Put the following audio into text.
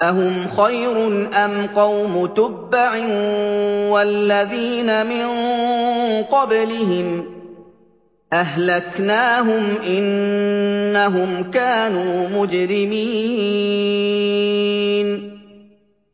أَهُمْ خَيْرٌ أَمْ قَوْمُ تُبَّعٍ وَالَّذِينَ مِن قَبْلِهِمْ ۚ أَهْلَكْنَاهُمْ ۖ إِنَّهُمْ كَانُوا مُجْرِمِينَ